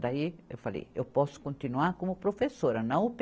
Daí eu falei, eu posso continuar como professora. não